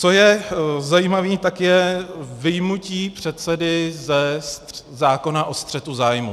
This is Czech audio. Co je zajímavé, tak je vyjmutí předsedy ze zákona o střetu zájmů.